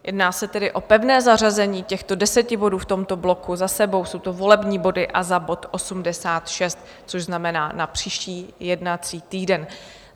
Jedná se tedy o pevné zařazení těchto deseti bodů v tomto bloku za sebou, jsou to volební body, a za bod 86, což znamená na příští jednací týden.